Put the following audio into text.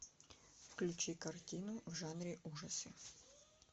включи картину в жанре ужасы